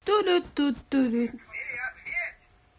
ту ду тут ту дут